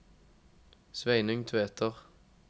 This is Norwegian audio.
Sveinung Tveter